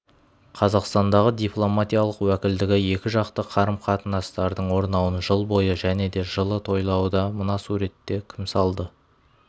қазақстандағы дипломатиялық уәкілдігі екіжақты қарым-қатыстарының орнауын жыл бойы және де жылы тойлауда мына суретті кім салды